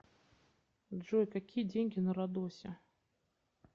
джой какие деньги на родосе